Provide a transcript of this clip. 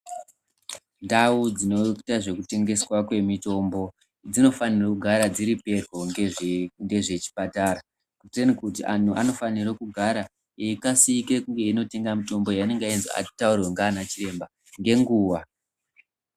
Ndau dzinoita zvekutengeswa kwemitombo dzinofanira kugara dziri peryo ngezvechipatara. Kuteni kuti antu anofanire kugara eikasike kunge einotenga mutombo, yaanenge azi ataurirwa ngaana chiremba ngenguwa.